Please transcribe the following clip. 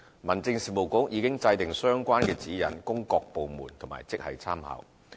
民政事務局已制訂相關指引供各部門及職系參考。